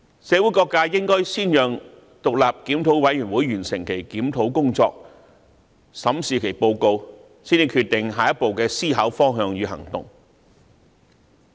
社會各界應先讓獨立檢討委員會完成其檢討工作，審視其報告，才決定下一步的思考方向與行動。